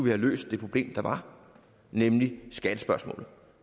have løst det problem der var nemlig skattespørgsmålet